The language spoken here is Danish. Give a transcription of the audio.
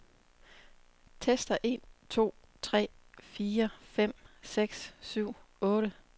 Tester en to tre fire fem seks syv otte.